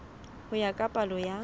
ho ya ka palo ya